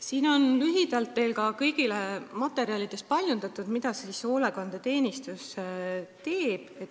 Teile kõigile on paljundatud materjalid selle kohta, mida hoolekandeteenistus teeb.